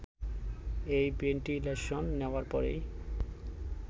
এই ভেন্টিলেশন নেওয়ার পরই